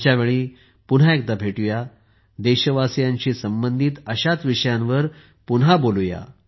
पुढच्या वेळी पुन्हा एकदा भेटू या देशवासियांशी संबंधित अशाच विषयांवर पुन्हा बोलू या